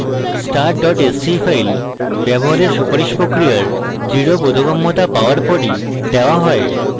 start dot sce file ব্যবহারের সুপারিশ প্রক্রিয়ার দৃঢ় বোধগম্যতা পাওয়ার পরই দেওয়া হয়